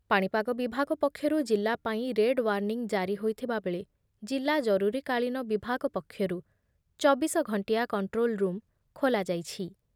ପାଣିପାଗ ବିଭାଗ ପକ୍ଷରୁ ଜିଲ୍ଲା ପାଇଁ ରେଡ ଓ୍ବାର୍ନିଙ୍ଗ୍ ଜାରି ହୋଇଥିବା ବେଳେ ଜିଲ୍ଲା ଜରୁରୀ କାଳୀନ ବିଭାଗ ପକ୍ଷରୁ ଚବିଶ ଘଣ୍ଟିଆ କଣ୍ଟ୍ରୋଲ୍ ରୁମ୍ ଖୋଲାଯାଇଛି ।